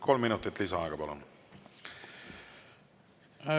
Kolm minutit lisaaega, palun!